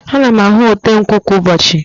Ana m ahụ ote nkwụ kwa ụbọchị.